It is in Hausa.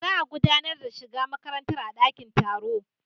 Za a gudanar da shiga makarantar a dakin taro.